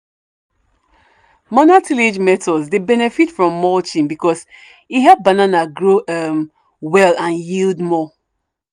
manual tillage methods dey benefit from mulching because e help banana grow um well and yield more.